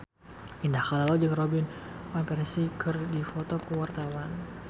Indah Kalalo jeung Robin Van Persie keur dipoto ku wartawan